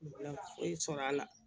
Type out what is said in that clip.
Foyi sɔrɔ la